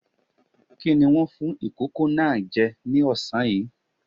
Kí ni wọ́n fún ìkókó náà jẹ ní ọ̀sán yìí?